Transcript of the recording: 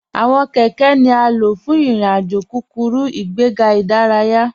Awọn kẹkẹ̀ ni a ló fún irin-àjò kúkúrú, ìgbẹ̀gà idáràyà.